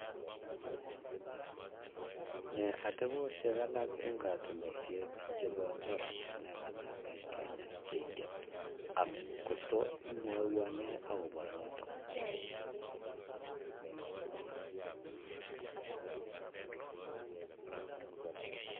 Nee ateposhek alak eng katunishet chepo oratinwek alak eng kenya che ingen ako tos imwawanee akopa notok